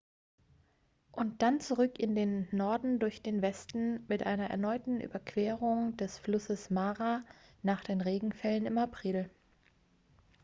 und dann zurück in den norden durch den westen mit einer erneuten überquerung des flusses mara nach den regenfällen im april